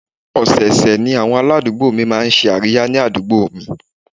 Ọ̀sẹ̀ ọ̀sẹ̀ ni àwọn aládùúgbò máa ń ṣe àríyá ni àdúgbò mi